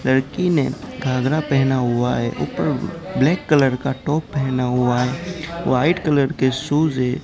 लड़की ने घागरा पहना हुआ है ऊपर ब्लैक कलर का टॉप पहना हुआ है व्हाइट कलर के शूज हैं।